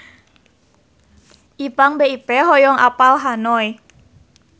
Ipank BIP hoyong apal Hanoi